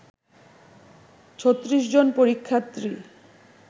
৩৬ জন পরীক্ষার্থী